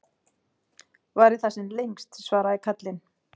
Vari það sem lengst, svaraði karlinn.